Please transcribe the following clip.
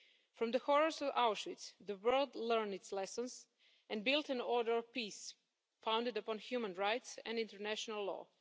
From the horrors of Auschwitz, the world learned its lesson and built an order of peace, founded upon human rights and international law.